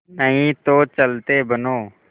नहीं तो चलते बनो